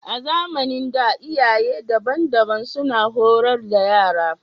A zamanin da, iyaye daban-daban suna horar da yara